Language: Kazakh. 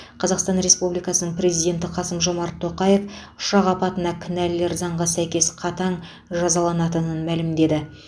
қазасқтан республикасының президенті қасым жомарт тоқаев ұшақ апатына кінәлілер заңға сәйкес қатаң жазаланатынын мәлімдеді